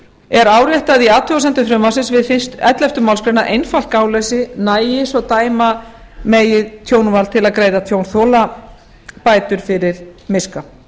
er áréttað í athugasemdum frumvarpsins við ellefta málsgrein að einfalt gáleysi nægi svo dæma megi tjónvald til að greiða tjónþola bætur fyrir miska